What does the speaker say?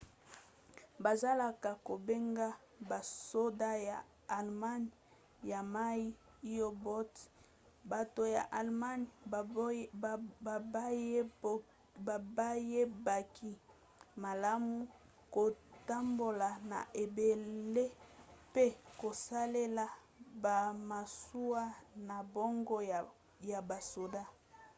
bazalaka kobenga basoda ya allemagne ya mai u-boats. bato ya allemagne bayebaki malamu kotambola na ebale mpe kosalela bamasuwa na bango ya basoda